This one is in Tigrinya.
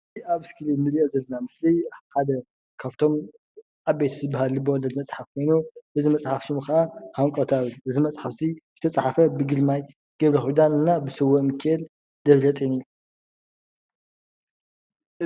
እዚ ኣብ ምስሊ ንሪኦ ዘለና ምስሊ ሓደ ካብቶም ዓበይቲ ዝበሃል ልበወለድ መፅሓፍ ኮይኑ እዚ መፅሓፍ ሽሙ ከዓ ሃንቀዉታ እዩ። እዚ መፅሓፍ እዚ ዝተፅሓፈ ብግርማይ ገብረኪዳን እና ብስውእ ምኪኤል ደብረጼን እዩ።